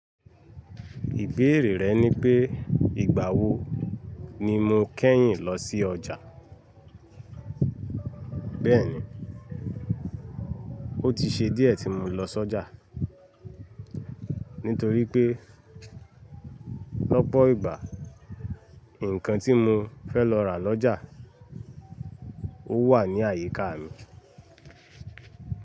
Ìbéèrè rẹ ni pé ìgbà wo ni mo kẹ́yìn lọsí ọjà. Bẹ́ẹ̀ni, ó ti ṣe díẹ̀ tí mo lọ s'ọjà, nítorí pé lọ́pọ̀ ìgbà ǹkan tí mo fẹ́ lọ rà lọ́jà ó wà ní àyíká mi.